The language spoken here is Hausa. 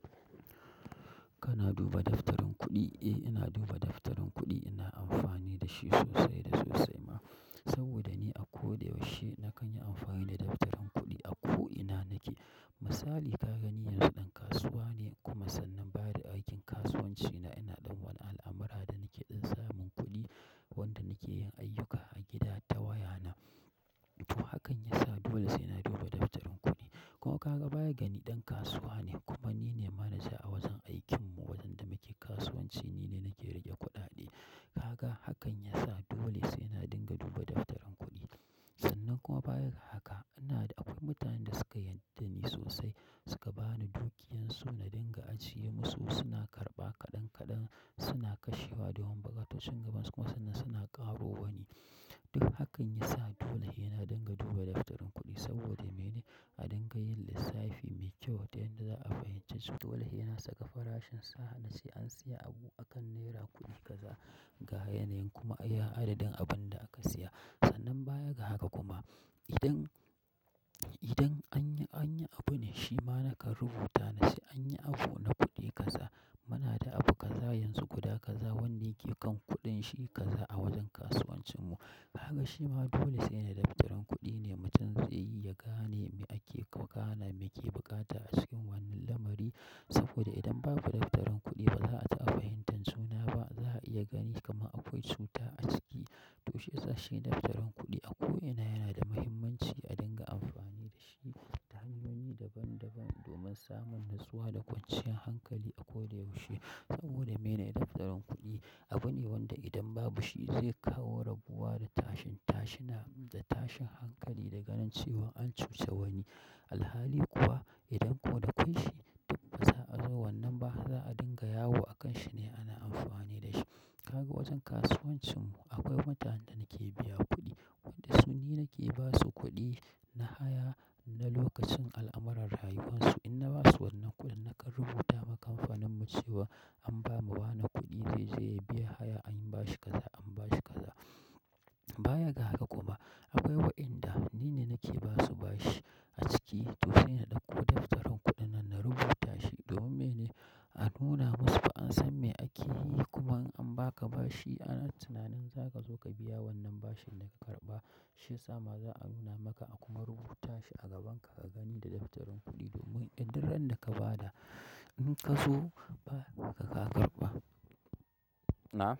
Kana duba daftarin kuɗi? Eh, ina duba daftarin kuɗi. Ina amfani da shi sosai da sosai ma, saboda ni a koyaushe na kan yi amfani da daftarin kuɗi a ko ina nake. Misali, ka gani yanzu ɗan kasuwa ne, kuma sannan ba da aikin kasuwanci na ina ɗan wani al'amara da nake don samun kuɗi wanda nake yin ayyuka a gida ta waya na. Kuma hakan ya sa dole sai ina duba daftarin kuɗi. Kuma kaga bayada ni dan kasuwa ne kuma nine manaja a wajen aikin mu wajen da muke kasuwanci ni ne nake rike kuɗaɗe. Ka ga hakan ya sa dole sai ina dinga duba daftarin kuɗi. Sannan kuma baya ga haka, ana akwai mutanen da suka yarda ni sosai, suka bani dukiyansu na dinga ajiye musu. Suna karɓa kaɗan kaɗan, suna kashewa domin bukatocin gaban su kuma sannan suna ƙaro wani. Duk hakan ya sa dole ina dinga duba daftarin kuɗi saboda mene? A dinga yin lissafi mai kyau ta yadda za' a fahimci to dole sai na saka farashin sa da sai an siya abu akan naira kuɗi kaza ga yanayin kuma iya adadin abunda aka siya sannan baya ga haka kuma, idan, idan anyi, anyi abu ne shima nakan rubuta na ce anyi abu na kuɗi gaza. Muna da abu kaza yanzu guda kaza wanda ke kan kuɗin shi kaza a wajen kasuwancinmu. Haka shima dole sai na daftarin kuɗi ne mutum zai iya gane me ake, gane me ke bukata a cikin wannan lamari. Saboda idan babu daftarin kuɗi ba za'a ta fahimtar suna ba, za'a iya gani kama akwai cuta a ciki. To shiyasa shi daftarin kuɗi a ko ina yana da muhimmanci a dinga amfani da shi ta hanyoyi daban daban domin samun nutsuwa da kwancinyar hankali a koyaushe. Saboda mene daftarin kuɗi abu ne wanda idan babu shi zai kawo rabuwa da tashin, tashina da tashin hankali da ganin cewan an cusa wani. Alhali kuwa idan kuwa da kwaishi duk ba za'a zo wannan ba, za'a dinga yawo a kan shi ne ana amfani da shi. Ka ga wajen kasuwancinmu akwai mutanen da nake biya kuɗi, wanda su ni nake basu kuɗi na haya na lokacin al'amarran rayuwarsu. In na basu wannan kuɗin nakan rubuta ma kamfaninmu cewa an bamu wane kuɗi zai je ya biya haya anyi bashi kaza, an bashi kaza. Baya ga haka kuma, akwai wa'inda ni ne nake basu bashi a ciki. To saina ɗauko daftarin kuɗin nan na rubuta shi domin mene? A nuna musu fa an san me ake yi. Kuma in an baka bashi ana tunanin za ka zo ka biya wannan bashin da ka karɓa. Shiyasa ma za'a nuna maka a kuma rubuta shi a gabanka ka gani da daftarin kuɗi domin idan duk ran da ka ba da ka zo ba, ka, ka karɓa. Na?